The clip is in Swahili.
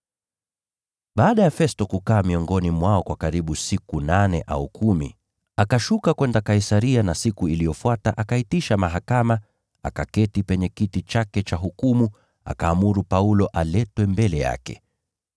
Baada ya Festo kukaa miongoni mwao kwa karibu siku nane au kumi, akashuka kwenda Kaisaria na siku iliyofuata akaitisha mahakama, akaketi penye kiti chake cha hukumu, akaamuru Paulo aletwe mbele yake.